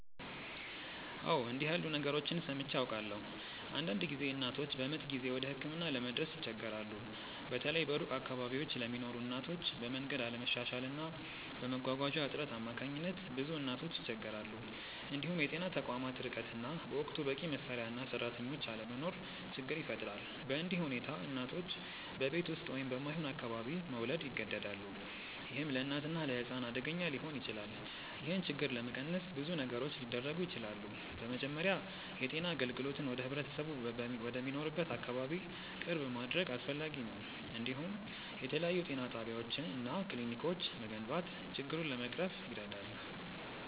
አዎ፣ እንዲህ ያሉ ነገሮችን ሰምቼ አውቃለሁ። አንዳንድ ጊዜ እናቶች በምጥ ጊዜ ወደ ሕክምና ለመድረስ ይቸገራሉ፤ በተለይ በሩቅ አካባቢዎች ለሚኖሩ እናቶች፤ በመንገድ አለመሻሻል እና በመጓጓዣ እጥረት አማካኝነት ብዙ እናቶች ይቸገራሉ። እንዲሁም የጤና ተቋማት ርቀት እና በወቅቱ በቂ መሳሪያ እና ሰራተኞች አለመኖር ችግር ይፈጥራል። በእንዲህ ሁኔታ እናቶች በቤት ውስጥ ወይም በማይሆን አካባቢ መውለድ ይገደዳሉ፣ ይህም ለእናትና ለሕፃን አደገኛ ሊሆን ይችላል። ይህን ችግር ለመቀነስ ብዙ ነገሮች ሊደረጉ ይችላሉ። በመጀመሪያ የጤና አገልግሎትን ወደ ህብረተሰቡ ወደሚኖርበት አካባቢ ቅርብ ማድረግ አስፈላጊ ነው፤ እንዲሁም የተለያዩ ጤና ጣቢያዎች እና ክሊኒኮች መገንባት ችግሩን ለመቅረፍ ይረዳል።